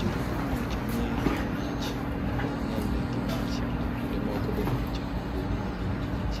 Jorieko nowachoni mach ok nyal neg gi mach, to kinde moko be mach be onego gi mach.